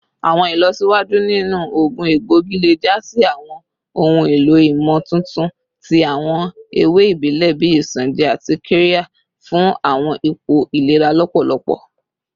Awọn ilọsiwaju ninu oogun egboigi le ja si awọn ohun elo imotuntun ti awọn ewe ibile bii isanje ati qirya fun awọn ipo ilera lọpọlọpọ